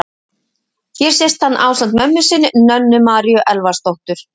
Hér sést hann ásamt mömmu sinni, Nönnu Maríu Elvarsdóttur.